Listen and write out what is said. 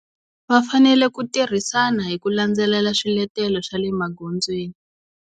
Va fanele ku tirhisana hi ku landzelela swiletelo swa le magondzweni.